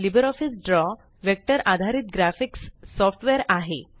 LibreOffice Draw vector आधारित graphics software आहे